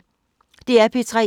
DR P3